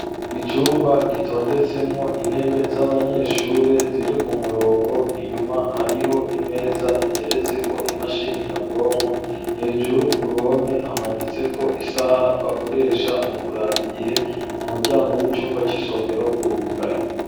icumba gitondetsemwo intebe z'abanyeshure ziri ku murongo inyuma hariho imeza iteretse ko imashini nyabwonko .Hejuru ku ruhome hamanitse ko isaha bakoresha mu kuraba igihe umuryango w'icumba cisomero urugaye.